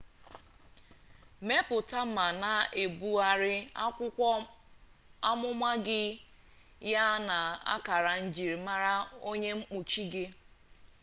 mepụta ma na-ebugharị akwụkwọ amụma gị ya na akara njimama onye mkpuchi gị